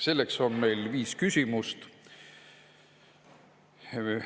Selles on meil viis küsimust.